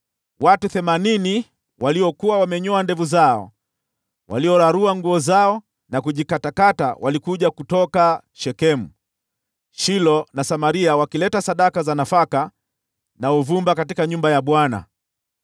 watu themanini waliokuwa wamenyoa ndevu zao, waliorarua nguo zao na kujikatakata walikuja kutoka Shekemu, Shilo na Samaria wakileta sadaka za nafaka na uvumba katika nyumba ya Bwana .